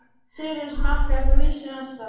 Sigríður: Smakkaðir þú ísinn, Ásta?